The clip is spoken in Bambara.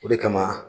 O de kama